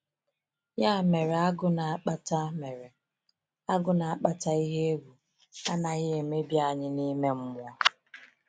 Ya mere, ‘agụ’ na-akpata mere, ‘agụ’ na-akpata ihe egwu anaghị emebi anyị n’ime mmụọ.